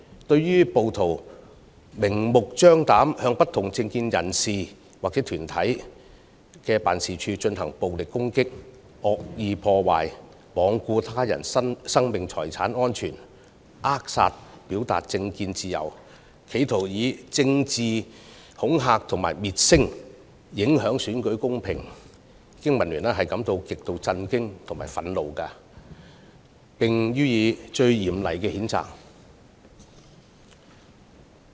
對於暴徒明目張膽地向不同政見人士或團體的辦事處進行暴力攻擊、惡意破壞、罔顧他人性命財產安全，扼殺表達政見自由，企圖以政治恐嚇滅聲，影響選舉公平，經民聯感到極度震驚和憤怒，並予以最嚴厲的譴責。